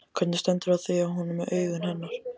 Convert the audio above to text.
Hvernig stendur á því að hún er með augun hennar?